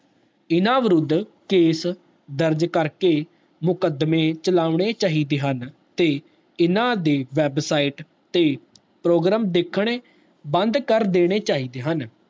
ਇਨਾ ਵਿਰੁੱਧ case ਦਰਜ ਕਰਕੇ ਮੁਕਦਮੇ ਪੌਣੇ ਚਾਹੀਦੇ ਹਨ ਤੇ ਇਨਾ ਦੇ website ਤੇ program ਦੇਖਣੇ ਬੰਦ ਕਰ ਦੇਣੇ ਚਾਹੀਦੇ ਹਨ